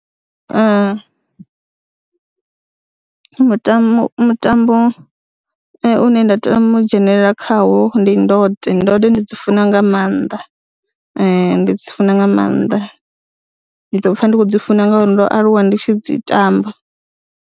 Mutambo, mutambo une nda tama u dzhenelela khawo ndi ndode, ndode ndi dzi funa nga maanḓa, ndi dzi funa nga maanḓa, ndi tou pfha ndi khou dzi funa ngauri ndo aluwa ndi tshi dzi tamba,